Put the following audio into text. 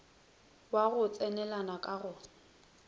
wa go tsenelana ka go